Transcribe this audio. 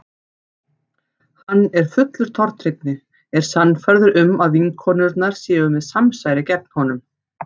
Hann er fullur tortryggni, er sannfærður um að vinkonurnar séu með samsæri gegn honum.